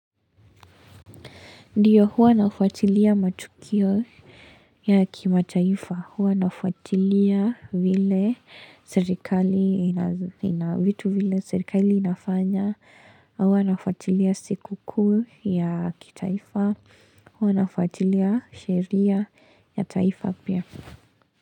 Ndiyo huwa nafuatilia matukio ya kimataifa, huwa nafuatilia vile serikali inafanya, huwa nafuatilia sikukuu ya kitaifa, huwa nafuatilia sheria ya taifa pia.